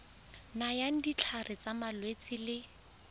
nayang ditlhare tsa malwetse le